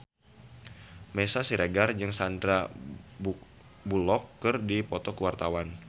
Meisya Siregar jeung Sandar Bullock keur dipoto ku wartawan